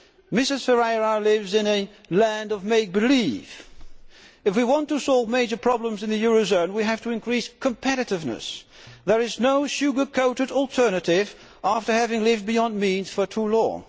Mrs Ferreira lives in a land of make believe. If we want to solve major problems in the euro zone, we have to increase competitiveness, as there is no sugar coated alternative after having lived beyond our means for too long.